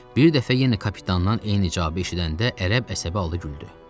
Bir dəfə yenə kapitandan eyni icazə eşidəndə ərəb əsəbi halı güldü.